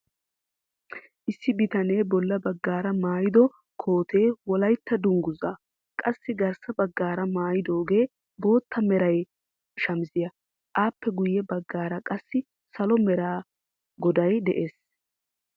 Issi bitanee bolla baggaara maayido kootee wollaytta dunguzzaa, qassi garssa baggaara maayidoogee bootta mera shamiishiyaa. appe guyye baggaara qassi salo mera goday de'ees.